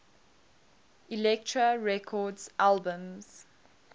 elektra records albums